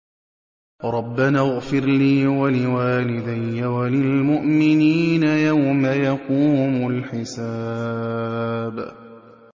رَبَّنَا اغْفِرْ لِي وَلِوَالِدَيَّ وَلِلْمُؤْمِنِينَ يَوْمَ يَقُومُ الْحِسَابُ